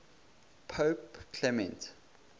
pope clement